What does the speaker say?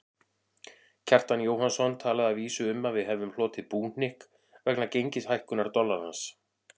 Kjartan Jóhannsson talaði að vísu um að við hefðum hlotið búhnykk vegna gengishækkunar dollarans.